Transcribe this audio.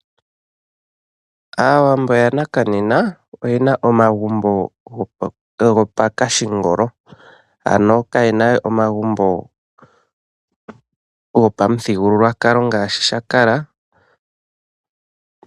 Aawambo ya naka nena oyena omagumbo gopashingolo, ano ka yena we omagumbo gopamuthigulukwalo ngashi sha kala.